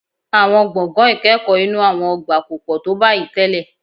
Àwọn gbọ̀ngàn ìkẹ́kọ̀ọ́ inú àwọn ọgbà kò pọ̀ tó báyìí tẹ́lẹ̀